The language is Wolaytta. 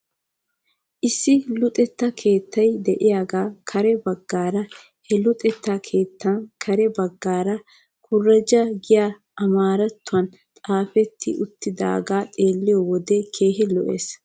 Issi luxetta keettay de'iyaagan kare bagaara he luxettaa keettan kare bagaara kureja giyaagan amaarattuwan xaafetti uttidaagee xeelliyoo wode keehi lo'es.